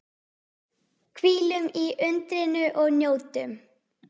Hvílum í undrinu og njótum.